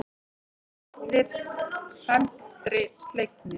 Það voru allir felmtri slegnir.